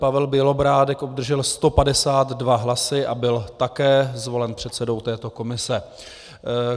Pavel Bělobrádek obdržel 152 hlasů a byl také zvolen předsedou této komise.